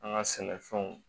An ka sɛnɛfɛnw